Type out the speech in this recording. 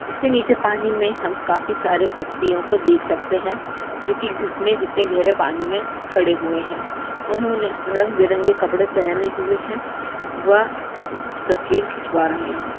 उसके नीचे पानी में हम काफी सारे व्यक्तियोको देख सखते है जो की घुटने जीतने गेहरे पानी में खड़े हुए है उन्होंने रंगबिरंग कपड़े पेहने हुए है व तस्वीर खिचवा रहे है।